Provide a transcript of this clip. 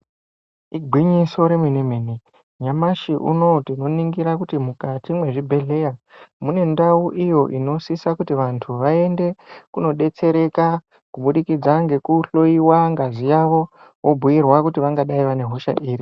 Igwinyiso remene-mene nyamashi unouyu tinoningira kuti mukati mwezvibhedhleya. Mune ndau iyo inosisa kuti vantu vaende kunodetsereka kubudikidza ngekuhloiwa ngazi yavo vobhuirwa kuti vangadai vane hosha iri.